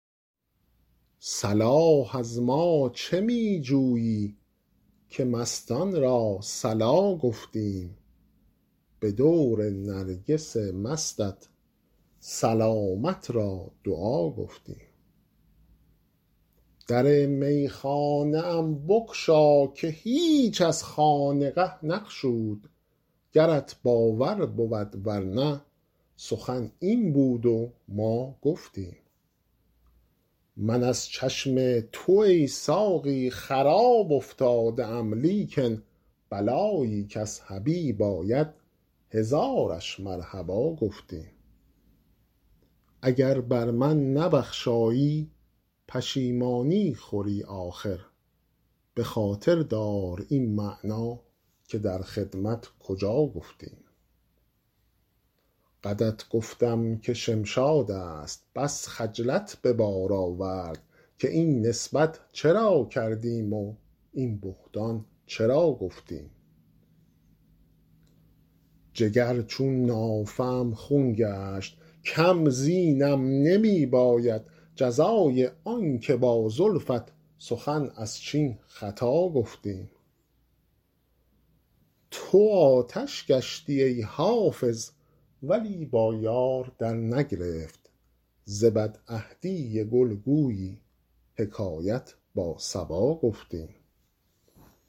صلاح از ما چه می جویی که مستان را صلا گفتیم به دور نرگس مستت سلامت را دعا گفتیم در میخانه ام بگشا که هیچ از خانقه نگشود گرت باور بود ور نه سخن این بود و ما گفتیم من از چشم تو ای ساقی خراب افتاده ام لیکن بلایی کز حبیب آید هزارش مرحبا گفتیم اگر بر من نبخشایی پشیمانی خوری آخر به خاطر دار این معنی که در خدمت کجا گفتیم قدت گفتم که شمشاد است بس خجلت به بار آورد که این نسبت چرا کردیم و این بهتان چرا گفتیم جگر چون نافه ام خون گشت کم زینم نمی باید جزای آن که با زلفت سخن از چین خطا گفتیم تو آتش گشتی ای حافظ ولی با یار درنگرفت ز بدعهدی گل گویی حکایت با صبا گفتیم